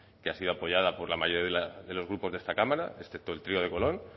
que ha sido apoyada por la mayoría de los grupos de esta cámara excepto el trío de colón